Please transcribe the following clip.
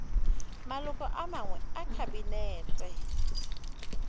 maloko a mangwe a kabinete